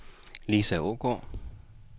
Lisa Aagaard